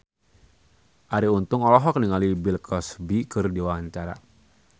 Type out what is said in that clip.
Arie Untung olohok ningali Bill Cosby keur diwawancara